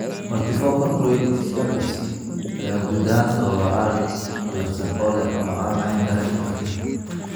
Multifocal choroiditis (MFC) ayaa guud ahaan sababa aragga qallafsan oo leh ama aan lahayn dareenka iftiinka.